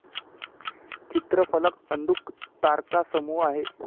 चित्रफलक अंधुक तारकासमूह आहे.